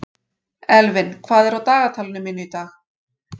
Elvin, hvað er á dagatalinu mínu í dag?